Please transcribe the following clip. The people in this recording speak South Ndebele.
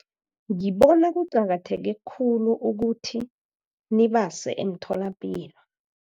Ngibona kuqakatheke khulu ukuthi nibase emtholapilo.